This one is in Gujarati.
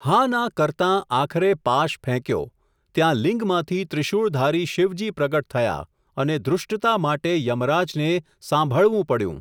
હા ના કરતાં આખરે પાશ ફેંક્યો, ત્યાં લિંગમાંથી ત્રિશૂળધારી શિવજી પ્રગટ થયા, અને ધૃષ્ટતા માટે યમરાજને સાંભળવું પડ્યું.